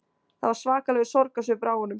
Það var svakalegur sorgarsvipur á honum